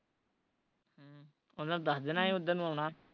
ਉਹਨਾਂ ਨੂੰ ਦੱਸ ਦੇਣਾ ਸੀ ਉਦਰ ਨੂੰ ਆਉਣਾ